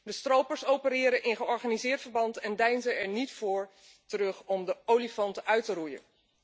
De stropers opereren in georganiseerd verband en deinzen er niet voor terug om de olifanten uit te roeien.